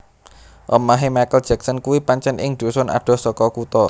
Omahe Michael Jackson kuwi pancen ing dhusun adoh saka kutha